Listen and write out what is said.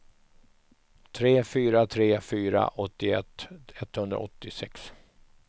tre fyra tre fyra åttioett etthundraåttiosex